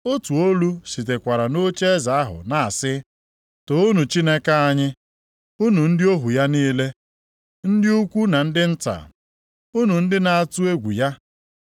Otu olu sitekwara nʼocheeze ahụ na-asị, “Toonu Chineke anyị, unu ndị ohu ya niile, ndị ukwu na ndị nta, unu ndị na-atụ egwu ya.”